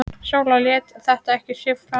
Sóla lét þetta ekki á sig fá.